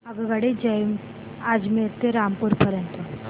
आगगाडी अजमेर ते रामपूर पर्यंत